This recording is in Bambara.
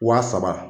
Wa saba